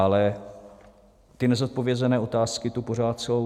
Ale ty nezodpovězené otázky tu pořád jsou.